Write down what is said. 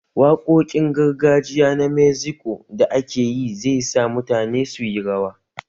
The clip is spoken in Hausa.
Waƙoƙin gargajiya na Mexiko da akeyi zai sa mutane su yi rawa